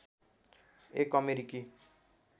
एक अमेरिकी